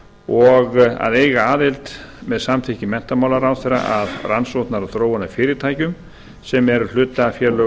og að eiga aðild með samþykki menntamálaráðherra að rannsóknar og þróunarfyrirtækjum sem eru hlutafélög